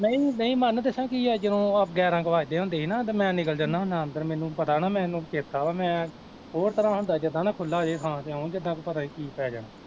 ਨਹੀਂ ਨਹੀਂ ਮੰਨ ਦੱਸਾਂ ਕੀ ਆ ਜਦੋਂ ਆਹ ਗਿਆਰਾਂ ਕੁ ਵੱਜਦੇ ਹੁੰਦੇ ਸੀ ਨਾ ਤੇ ਮੈਂ ਨਿਕਲ ਜਾਂਦਾ ਹੁਨਾ ਅੰਦਰ ਮੈਨੂੰ ਪਤਾ ਨਾ ਮੈਨੂੰ ਚੇਤਾ ਵਾ ਮੈਂ ਹੋਰ ਤਰ੍ਹਾਂ ਹੁੰਦਾ ਜਿੱਦਾਂ ਨਾ ਖੁੱਲਾ ਜਿਹਾ ਥਾਂ ਜਿੱਦਾਂ ਪਤਾ ਨੀ ਕੀ ਪੈ ਜਾਣਾ